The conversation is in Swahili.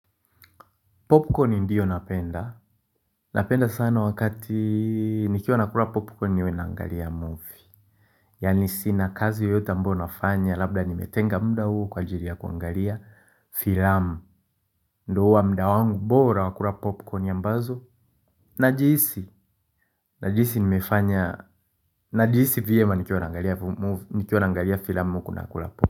Popcorni ndiyo napenda. Napenda sana wakati nikiwa nakula popcorni niwe naangalia movie. Yaani sina kazi yoyotae ambao nafanya labda nimetenga mda huu kwa ajiri ya kuangalia filamu. Ndo huwa mda wangu bora wa kura popcorni ambazo. Najihisi. Najihisi vyema nikiwa naangalia filamu huku nakula popcorni.